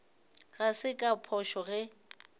ga se ka phošo ge